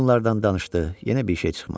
Qoyunlardan danışdı, yenə bir şey çıxmadı.